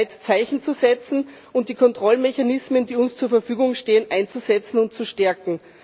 Es ist Zeit, Zeichen zu setzen und die Kontrollmechanismen, die uns zur Verfügung stehen, einzusetzen und zu stärken.